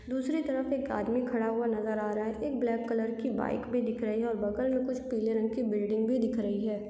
दूसरी तरफ एक आदमी खड़ा हुआ नज़र आ रहा है एक ब्लैक कलर की बाइक भी दिख रही है और बगल में कुछ पीले रंग की बिल्डिंग भी दिख रही है।